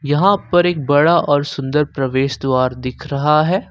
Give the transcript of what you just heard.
यहां पर एक बड़ा और सुंदर प्रवेश द्वार दिख रहा है।